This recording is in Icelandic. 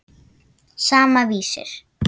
Sama, Vísir.